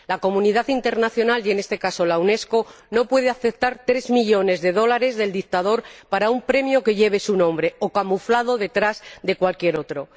La comunidad internacional, y en este caso la Unesco, no puede aceptar tres millones de dólares del dictador para un premio que lleve su nombre o lo camufle detrás de cualquier otro.